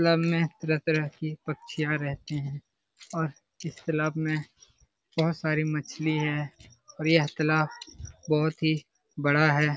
तलब में तरह-तरह की पक्षियाँ रहते हैं और इस तालाब में बहुत सारी मछली हैं और यह तालाब बोहोत ही बड़ा है ।